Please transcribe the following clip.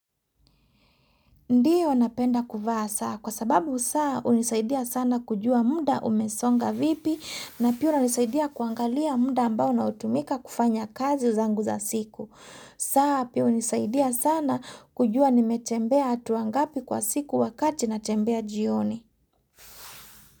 Ndiyo napenda kuvaa saa kwa sababu saa hunisaidia sana kujua muda umesonga vipi na pia hunisaidia kuangalia muda ambao unaotumika kufanya kazi zangu za siku. Saa pia hunisaidia sana kujua nimetembea hatua ngapi kwa siku wakati natembea jioni.